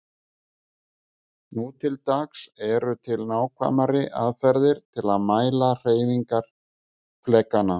Nú til dags eru til nákvæmari aðferðir til að mæla hreyfingar flekanna.